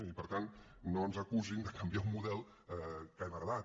i per tant no ens acusin de canviar un model que hem heretat